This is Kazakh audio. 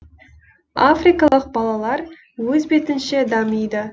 африкалық балалар өз бетінше дамиды